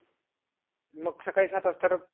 मग सकाळी सात वाजता